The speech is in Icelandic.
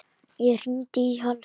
Ég hringdi í hann.